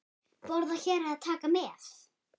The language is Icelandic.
Borða hér eða taka með?